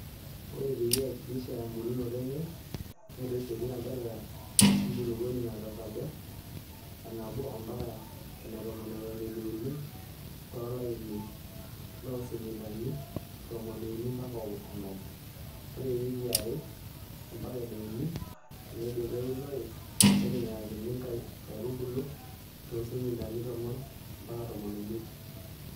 Ore peyie eihakikishai embulunoto enye ,neitushuli ilanterera wenkulupuoni tesajata enabo ompaka enetomo eton eitu euni tolaini loo sentimitani tomoni uni ompaka onom. Ore ewikii eare ompaka ene uni teneidipi eunore, neitinyikakini nkaitubulo too sentimitani tomon ompaka tomon omiet.